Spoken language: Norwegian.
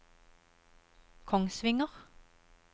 Kongsvinger